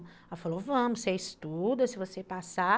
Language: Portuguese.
Ela falou, vamos, você estuda, se você passar.